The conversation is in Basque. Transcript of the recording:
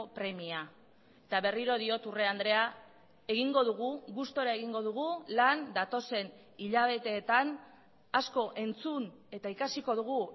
premia eta berriro diot urrea andrea egingo dugu gustura egingo dugu lan datozen hilabeteetan asko entzun eta ikasiko dugu